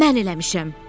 Mən eləmişəm!